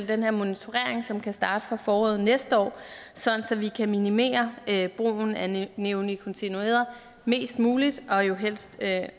den her monitorering som skal starte fra foråret næste år sådan at vi kan minimere brugen af neonikotinoider mest muligt og jo helst